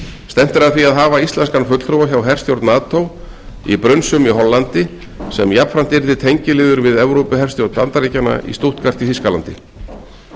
stefnt er að því að hafa íslenskan fulltrúa hjá herstjórn nato í brunsum í hollandi sem jafnframt yrði tengiliður við evrópuherstjórn bandaríkjanna í stuttgart í þýskalandi þetta